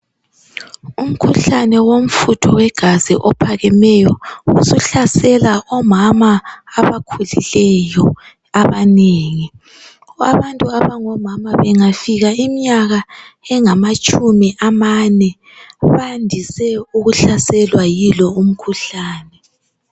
Umkhuhlane womfutho wegazi ophakameyo usuhlasela omama abakhulileyo abanengi abantu abangomama bengafika iminyaka engamatshumi amane bandise ukuhlaselwa yilo umkhuhlane.